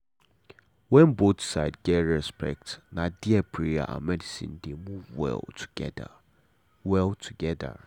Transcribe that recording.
when both side get respect na there prayer and medicine dey move well together. well together.